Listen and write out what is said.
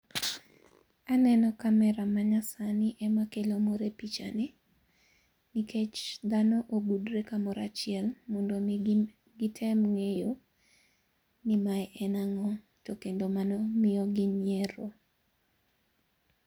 Aneno camera manyasani ema kelo mor e pichani nikech dhano ogudre kamoro achiel mondo mi gitem ngeyo ni mae en ango tokendo mano miyogi nyiero